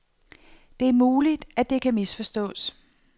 Det er muligt, at det kan misforstås.